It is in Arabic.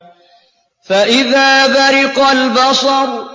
فَإِذَا بَرِقَ الْبَصَرُ